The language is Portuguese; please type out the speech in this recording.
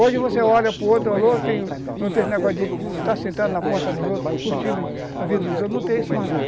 Hoje você olha para o outro, alô, tem, não tem esse negócio de está sentado na porta dos outros, curtindo a vida dos outros, não tem isso mais lá.